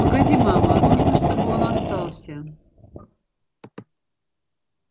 погоди мама нужно чтобы он остался